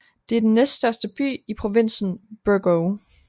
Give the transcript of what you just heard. Det er den næststørste by i provinsen Burgos